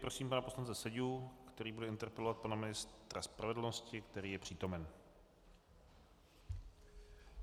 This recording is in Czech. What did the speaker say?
Prosím pana poslance Seďu, který bude interpelovat pana ministra spravedlnosti, který je přítomen.